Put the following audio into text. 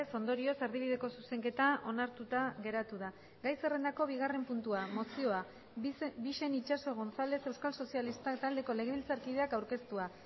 ondorioz erdibideko zuzenketa onartuta geratu da gai zerrendako bigarren puntua mozioa bixen itxaso gonzález euskal sozialistak taldeko legebiltzarkideak aurkeztua